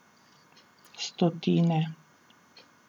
Stotine.